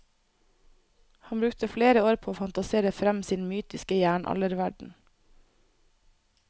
Han brukte flere år på å fantasere frem sin mytiske jernalderverden.